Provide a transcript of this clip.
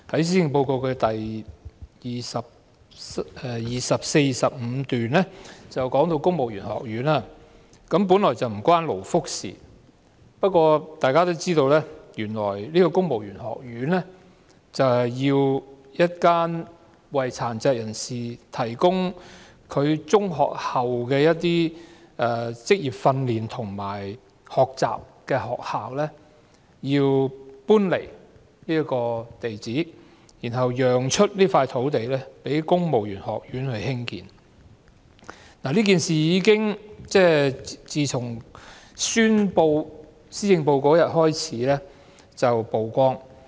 施政報告第24和25段提及公務員學院，本來這與勞福無關，但大家也知道，原來公務員學院的選址，是一間為殘疾人士提供中學畢業後職業訓練和學習的學校，這學校因此需要遷出，讓出土地興建公務員學院，這件事在宣布施政報告當天曝光。